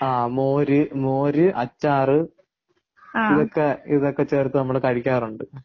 ആ മോര് മോര് ,അച്ചാർ ഇതൊക്കെ ഇതൊക്കെ ചേർത്ത് നമ്മൾ കഴിക്കാറുണ്ട്.